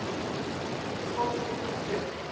Fólk rís upp.